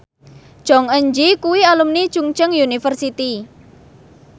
Jong Eun Ji kuwi alumni Chungceong University